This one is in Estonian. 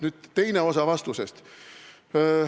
Nüüd teine osa vastusest.